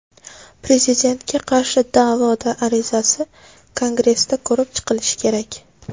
Prezidentga qarshi da’vo arizasi Kongressda ko‘rib chiqilishi kerak.